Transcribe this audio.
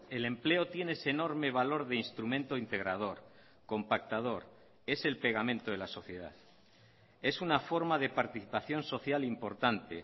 el empleo tiene ese enorme valor de instrumento integrador compactador es el pegamento de la sociedad es una forma de participación social importante